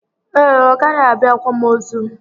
Ee, ọ gaghị abịa akwamozu